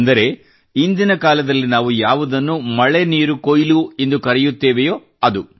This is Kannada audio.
ಅಂದರೆ ಇಂದಿನ ಕಾಲದಲ್ಲಿ ನಾವು ಯಾವುದನ್ನು ಮಳೆ ನೀರು ಕೊಯ್ಲು ಎಂದು ಕರೆಯುತ್ತೇವೆಯೋ ಅದು